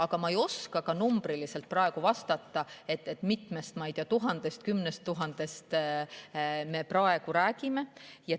Aga ma ei oska ka numbriliselt praegu vastata, kui mitmest või mitmekümnest tuhandest me praegu räägime.